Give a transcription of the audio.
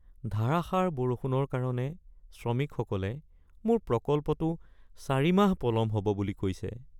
ধাৰাসাৰ বৰষুণৰ কাৰণে শ্ৰমিকসকলে মোক প্ৰকল্পটো ৪ মাহ পলম হ'ব বুলি কৈছে।